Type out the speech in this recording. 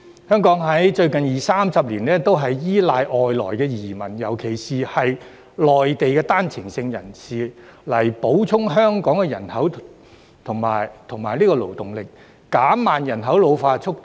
香港在最近二三十年，都是依賴外來移民，尤其是內地的單程證人士，以補充香港的人口和勞動力，減慢人口老化速度。